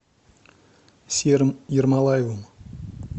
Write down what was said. серым ермолаевым